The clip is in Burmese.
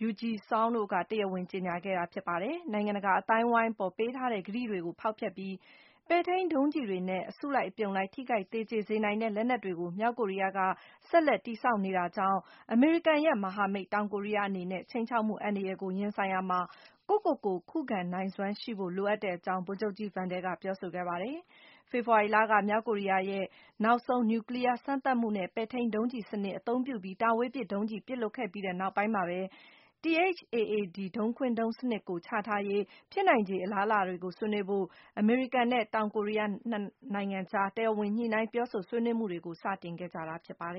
Ryu Je-seung တို့က တရားဝင်ကြေညာခဲ့တာပါ။ နိုင်ငံတကာအသိုင်းအဝိုင်းအပေါ် ပေးထားတဲ့ ကတိတွေကို ဖောက်ဖျက်ပြီး - ပဲ့ထိန်းဒုံးကျည်တွေနဲ့ အစုလိုက်အပြုံလိုက် ထိခိုက်သေကျေစေနိုင်တဲ့ လက်နက်တွေကို မြောက်ကိုရီးယားက ဆက်လက် တည်ဆောက်နေတာကြောင့်၊ အမေရိကန်ရဲ့ မဟာမိတ် တောင်ကိုရီးယားအနေနဲ့ ခြိမ်းခြောက်မှု အန္တရာယ်ကို ရင်ဆိုင်ရာမှာ ကိုယ့်ကိုယ့်ကို ခုခံနိုင်စွမ်းရှိဖိ့ု လိုအပ်တဲ့အကြောင်း - ဗိုလ်ချုပ်ကြီး Vandal က ပြောဆိုခဲ့ပါတယ်။ ဖေဖော်ဝါရီလက - မြောက်ကိုရီးယားရဲ့ နောက်ဆုံး နျူကလီးယားစမ်းသပ်မှုနဲ့ ပဲ့ထိန်းဒုံးကျည်စနစ် အသုံးပြုပြီး တာဝေးပစ်ဒုံးကျည် ပစ်လွှတ်ခဲ့ပြီး နောက်ပိုင်းမှာပဲ - THAAD ဒုံးခွင်းဒုံးစနစ်ကို ချထားရေး ဖြစ်နိုင်ချေ အလားအလာတွေကို ဆွေးနွေးဖို့ အမေရိကန်နဲ့ တောင်ကိုရီးယားနိုင်ငံအကြား တရားဝင် ညှိနှိုင်းပြောဆိုဆွေးနွေး မှုတွေကို စတင်ခဲ့ကြတာ ဖြစ်ပါတ